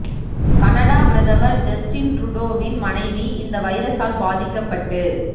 Canada பிரதமர் Justin ட்ருடோவின் மனைவி இந்த வைரசால் பாதிக்கப்பட்டு